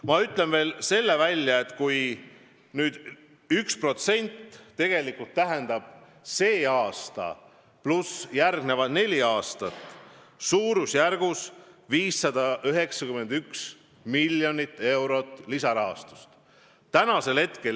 Ma ütlen veel selle välja, et kui me tahame tänavu saavutada selle 1% ja püsida järgmised neli aastat samal tasemel, siis tähendaks see suurusjärgus 591 miljonit eurot.